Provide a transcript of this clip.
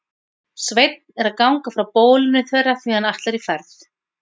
Sveinn er að ganga frá bólinu þeirra því hann ætlar í ferð.